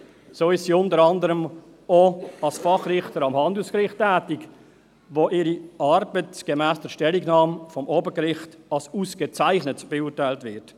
So ist sie unter anderem auch als Fachrichterin am Handelsgericht tätig, wo ihre Arbeit gemäss der Stellungnahme des Obergerichts als ausgezeichnet beurteilt wird.